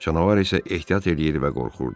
Canavar isə ehtiyat eləyir və qorxurdu.